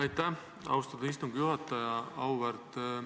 Aitäh, austatud istungi juhataja!